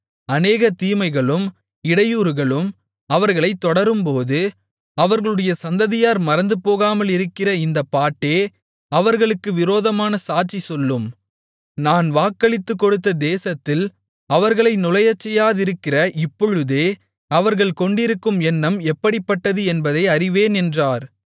அநேக தீமைகளும் இடையூறுகளும் அவர்களைத் தொடரும்போது அவர்களுடைய சந்ததியார் மறந்துபோகாமலிருக்கிற இந்தப் பாட்டே அவர்களுக்கு விரோதமான சாட்சி சொல்லும் நான் வாக்களித்துக்கொடுத்த தேசத்தில் அவர்களை நுழையச்செய்யாதிருக்கிற இப்பொழுதே அவர்கள் கொண்டிருக்கும் எண்ணம் எப்படிப்பட்டது என்பதை அறிவேன் என்றார்